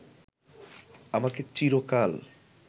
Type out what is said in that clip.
আমাকে চিরকাল